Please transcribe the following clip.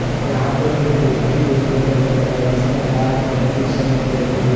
यहां पे एक व्यक्ति देखने को मिल रहा है जिसने लाल कलर शर्ट पहने हुई--